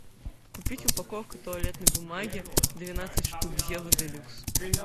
купить упаковку туалетной бумаги двенадцать штук зева де люкс